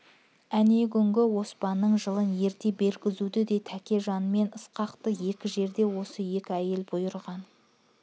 әнеугүнгі оспанның жылын ерте бергізуді де тәкежан мен ысқаққа екі жерде осы екі әйел бұйырған